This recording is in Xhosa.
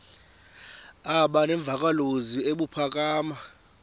aba nemvakalozwi ebuphakama